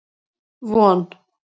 Von